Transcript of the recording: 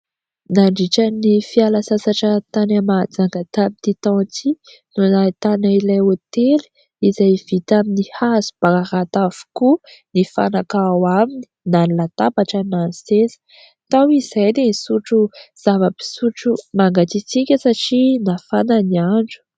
Nandritra ny fiala sasatra tany Mahajanga tamin'ity taona ity, no nahitanay ilay hôtely izay vita amin'ny hazo bararata avokoa ny fanaka ao aminy na ny latabatra na ny seza. Tao izahay dia nisotro zava-pisotro mangatsiatsiaka satria nafana ny andro.